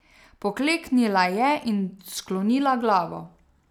Pokleknila je in sklonila glavo.